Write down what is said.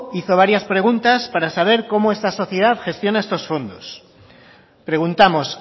hizo varias preguntas para sabe cómo esta sociedad gestiona estos fondos preguntamos